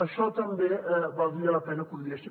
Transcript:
això també valdria la pena que ho digués